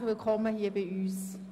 Herzlich willkommen bei uns!